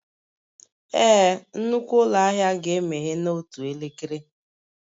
Ee, nnukwu ụlọ ahịa ga-emeghe n'otu elekere